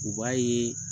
U b'a yeee